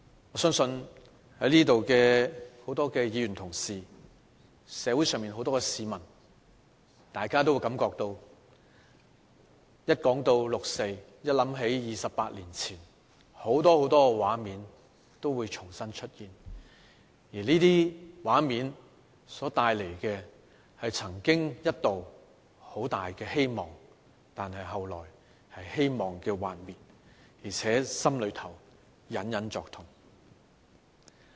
我相信在座的多位議員同事和社會上很多市民，當大家一談起六四，一想到28年前，很多很多畫面都會重新浮現，而這些畫面所帶來的是曾經一度很大的希望，但後來是希望的幻滅，而且心裏隱隱作痛。